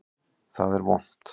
Það er vont.